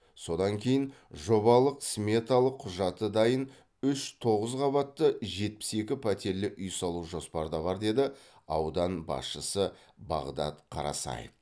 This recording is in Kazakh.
содан кейін жобалық сметалық құжаты дайын үш тоғыз қабатты жетпіс екі пәтерлі үй салу жоспарда бар деді аудан басшысы бағдат қарасаев